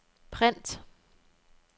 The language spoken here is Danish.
print